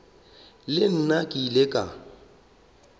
le nna ke ile ka